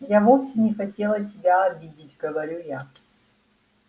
я вовсе не хотела тебя обидеть говорю я